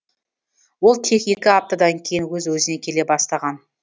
ол тек екі аптадан кейін өз өзіне келе бастаған